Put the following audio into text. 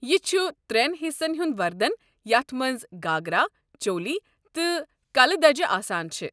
یہِ چھُ ترین حِصن ہُنٛد وردن یتھ مَنٛز گھاگرا، چولی تہٕ کلہٕ دجہِ آسان چھےٚ۔